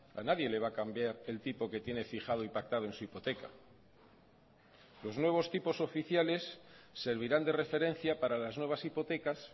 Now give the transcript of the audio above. a nadie le va a cambiar el tipo que tiene fijado y pactado en su hipoteca los nuevos tipos oficiales servirán de referencia para las nuevas hipotecas